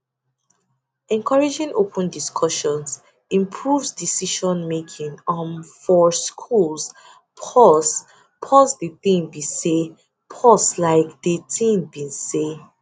encouraging open discussions improves decisionmaking um for schools pause pause de tin be say dey tin be say